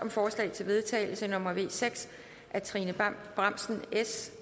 forslag til vedtagelse nummer v seks af trine bramsen